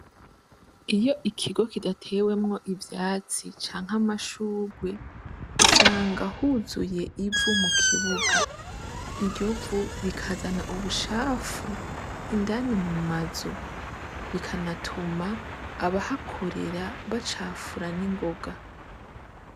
Iyo ikigo kidatewemwo ivyatsi canke amashurwe, usanga huzuye ivu mu kibuga. Iryo vu rikazana ubucafu Indani mu mazu. Bikanatuma abahakorera bacufura n'ingoga.